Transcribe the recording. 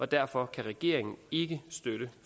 derfor kan regeringen ikke støtte